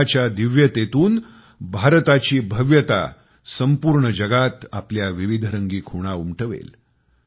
कुंभाच्या दिव्यतेतून भारताची भव्यता संपूर्ण जगात आपल्या विविधरंगी खुणा उमटवेल